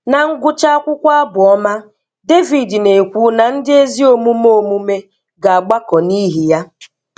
Na ngwụcha akwụkwọ abụọma, Devid na-ekwu na ndị ezi omume omume ga-agbakọ n'ihi ya.